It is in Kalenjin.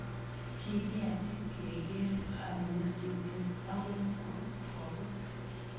Kikiyachi kekerer ab nyasutiet angot ko koput.